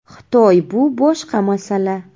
Xitoy bu boshqa masala.